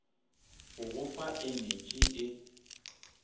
go go fa enetši e